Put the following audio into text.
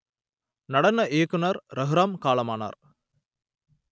நடன இயக்குனர் ரகுராம் காலமானார்